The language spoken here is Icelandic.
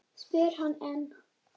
spyr hann enn.